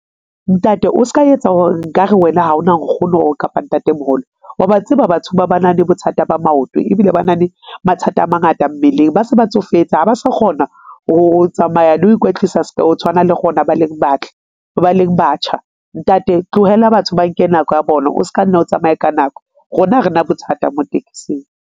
Ntate o ska etsa nkare wena ha ona Nkgono kapa Ntate-moholo. Wa ba tseba batho ba ba na le bothata ba maoto ebile ba na le mathata a mangata mmeleng, ba se ba tsofetse ha ba sa kgona ho tsamaya le ho ikwetlisa o tshwana le rona ba leng batle, ba leng batjha. Ntate tlohella batho ba nke nako ya bona o ska nna o tsamaye ka nako. Rona ha re na bothata mo taxing.